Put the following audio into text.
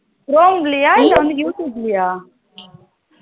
Chrome லயா இல்ல வந்து youtube லயா